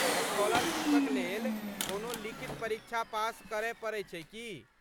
स्कॉलरशीपक लेल कोनो लिखित परीक्षा पास करय पड़ैत छै की?